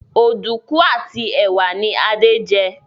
Oduku àti ẹwà ní Ade jé.